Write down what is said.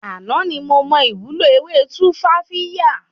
Àná ni mo mọ ìwúlò ewé Tumfafiya